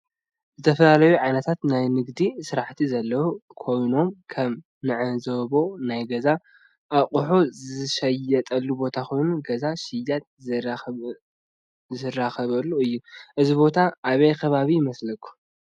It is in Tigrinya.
ዝተፈላለዩ ዓይነታት ናይ ንግዲ ስራሕቲ ዘለው ኮይኖም ከም እንዕዞቦ ናይ ገዛ አቁሕት ዝሽየጠሉ ቦታ ኮይኑ ገዛእ ሽያጥ ዝራክቡሉ እዩ ።እዚ ቦታ አበይ ከባቢ ይመስለኩም?